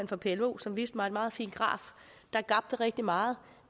for plo som viste mig en meget fin graf der gabte rigtig meget